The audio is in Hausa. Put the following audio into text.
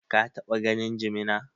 Ka taɓa ganin jimina?